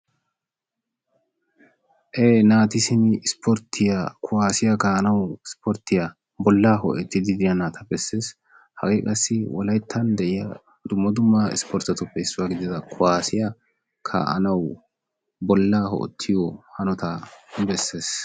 Ee naati simi ispporttiya kuwasiya kaa'anaw ispporttiya bollaa hoo"etiiddi diya naata bessees, hagee qassi wolaytta de'iya dumma dumma isportetuppe issuwa gidida kuwassiya kaa'anaw bollaa ho'etroto hanota bessees.